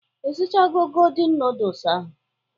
Ishichago godin nudus ahụ?